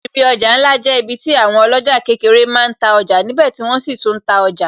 Ibi ọjà ńlá jẹ́ ibi tí àwọn oloja kékeré máa ń ta ọjà níbè tí wọ́n sì tún ta ọjà